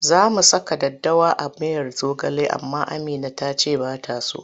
Za mu saka daddawa a miyar zogale amma Amina ta ce ba ta so.